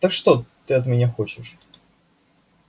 так что ты от меня хочешь